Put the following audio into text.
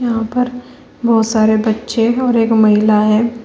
यहां पर बहुत सारे बच्चे और एक महिला है।